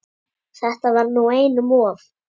Þetta var nú einum of!